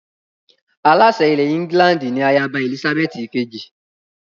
Aláṣẹ ilẹ̀ England ni ayaba Èlísábẹ́ẹ́tì ìkejì